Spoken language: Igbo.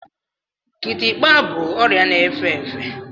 Kitikpa bụ ọrịa na-efe efe.